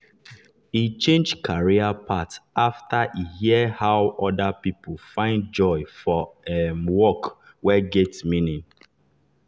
e change career path after e hear how other people find joy for um work wey get meaning.